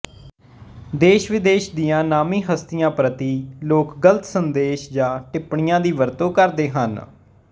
ਦੇਸ਼ਵਿਦੇਸ਼ ਦੀਆਂ ਨਾਮੀਂ ਹਸਤੀਆਂ ਪ੍ਰਤੀ ਲੋਕ ਗ਼ਲਤ ਸੰਦੇਸ਼ ਜਾਂ ਟਿੱਪਣੀਆਂ ਦੀ ਵਰਤੋਂ ਕਰਦੇ ਹਨ